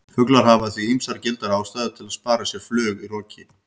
Fuglar hafa því ýmsar gildar ástæður til að spara sér flug í roki!